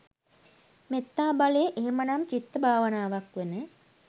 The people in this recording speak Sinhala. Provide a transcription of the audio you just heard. මෙත්තා බලය එහෙමනම්, චිත්ත භාවනාවක් වන